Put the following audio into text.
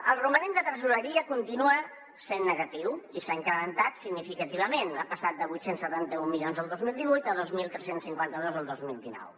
el romanent de tresoreria continua sent negatiu i s’ha incrementat significativament ha passat de vuit cents i setanta un milions el dos mil divuit a dos mil tres cents i cinquanta dos el dos mil dinou